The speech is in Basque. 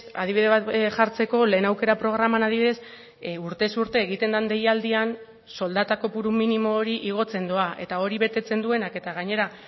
adibide bat jartzeko lehen aukera programan adibidez urtez urte egiten den deialdian soldata kopuru minimo hori igotzen doa eta hori betetzen duenak eta gainera